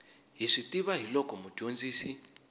hi swi tiva hiloko mudyondzisi